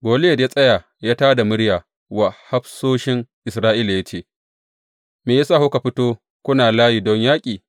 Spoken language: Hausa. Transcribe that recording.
Goliyat ya tsaya ya tā da murya wa hafsoshin Isra’ila ya ce, Me ya sa kuka fito kuna layi don yaƙi?